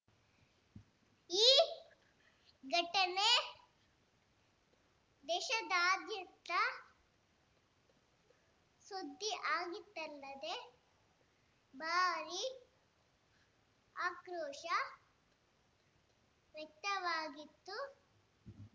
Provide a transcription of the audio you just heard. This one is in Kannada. ಈ ಘಟನೆ ದೇಶಾದ್ಯಂತ ಸುದ್ದಿಯಾಗಿತ್ತಲ್ಲದೆ ಭಾರೀ ಆಕ್ರೋಶ ವ್ಯಕ್ತವಾಗಿತ್ತು